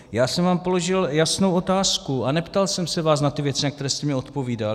Já jsem vám položil jasnou otázku a neptal jsem se vás na ty věci, na které jste mi odpovídal.